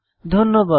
ধন্যবাদ